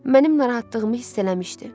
Mənim narahatlığımı hiss eləmişdi.